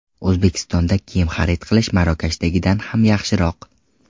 O‘zbekistonda kiyim xarid qilish Marokashdagidan ham yaxshiroq.